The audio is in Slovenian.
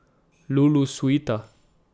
Lulu suita.